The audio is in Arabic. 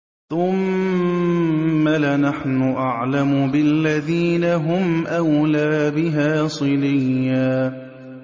ثُمَّ لَنَحْنُ أَعْلَمُ بِالَّذِينَ هُمْ أَوْلَىٰ بِهَا صِلِيًّا